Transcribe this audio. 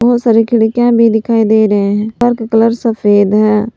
बहोत सारी खिड़कियां भी दिखाई दे रहे हैं घर का कलर सफेद है।